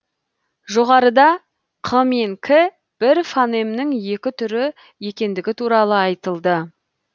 жоғарыда қ мен к бір фонемнің екі түрі екендігі туралы айтылды